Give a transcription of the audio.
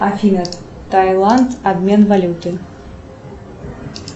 афина тайланд обмен валюты